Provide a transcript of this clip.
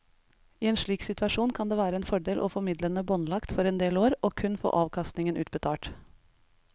I en slik situasjon kan det være en fordel å få midlene båndlagt for en del år og kun få avkastningen utbetalt.